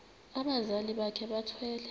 abazali bakhe bethwele